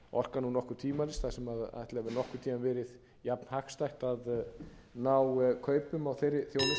okkar nú nokkuð tvímælis ætli það hafi nokkurn tíma verið jafnhagstætt að ná kaupum á þeirri þjónustu en það væri